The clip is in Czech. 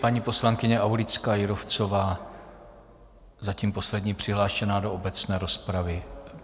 Paní poslankyně Aulická Jírovcová, zatím poslední přihlášená do obecné rozpravy.